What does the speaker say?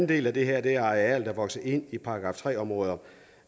del af det her er arealer der vokser ind i § tre områder